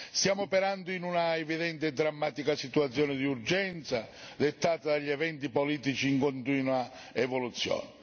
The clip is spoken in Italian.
Stiamo operando in un'evidente e drammatica situazione d'urgenza dettata dagli eventi politici in continua evoluzione.